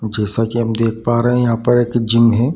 जैसा ही हम देख पा रहें यहाँ पर एक जिम है।